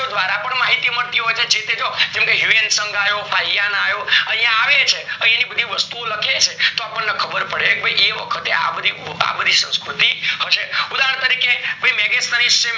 દ્વારા માહિતીઓ મળતી હોય છે જે તે જો હ્યુએન્સોન્ગ યો પાયણ યો યા આવે છે તો આયની બધી વસ્તુ ઓ લખે છે તો આપણને ખબર પડે ભય કે એ વખતે આ બધી સંસ્કૃતિ હયસે ઉદાહરણ તરીકે ભય મેગસની